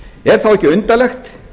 er þá ekki undarlegt